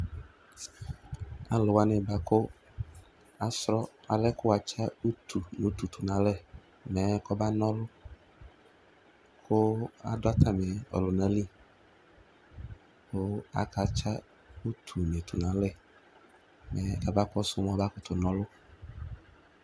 Alʋ wani bʋakʋ asrɔ alɛ kʋ atsa utu tʋnʋ alɛ mɛ kɔba na ɔlʋ kʋ adʋ atami ɔlʋnali kʋ akatsa utuni tʋnʋ alɛ mɛ abakɔsʋ mʋ aba kʋtʋ na ɔlʋ